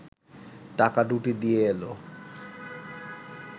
টাকা দুটি দিয়ে এল